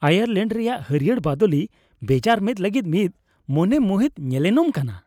Ireland ᱨᱮᱭᱟᱜ ᱦᱟᱹᱨᱭᱟᱹᱲ ᱵᱟᱫᱳᱞᱤ ᱵᱮᱡᱟᱨ ᱢᱮᱫ ᱞᱟᱹᱜᱤᱫ ᱢᱤᱫ ᱢᱚᱱᱮ ᱢᱩᱦᱤᱛ ᱧᱮᱱᱮᱞᱚᱢ ᱠᱟᱱᱟ ᱾